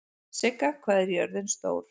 Sigga, hvað er jörðin stór?